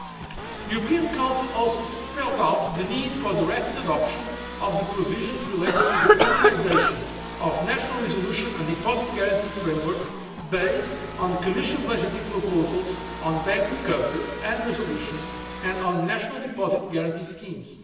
The European Council also spelled out the need for rapid adoption of the provisions relating to the harmonisation of national resolution and deposit guarantee frameworks based on the Commission's legislative proposals on bank recovery and resolution and on national deposit guarantee schemes.